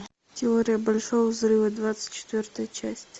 теория большого взрыва двадцать четвертая часть